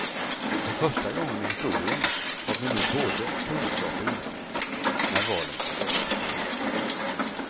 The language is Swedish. För första gången i historien har vi nu både kunskap och insikt, när valen skall göras.